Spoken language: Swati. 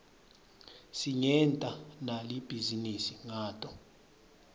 singenta nali bhizinisi ngato